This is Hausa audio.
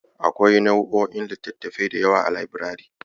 Akwai nau'o'in littattafai da yawa a labirari.